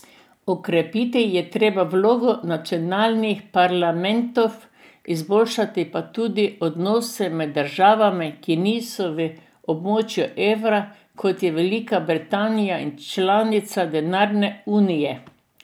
Okrepiti je treba vlogo nacionalnih parlamentov, izboljšati pa tudi odnose med državami, ki niso v območju evra, kot je Velika Britanija, in članicami denarne unije.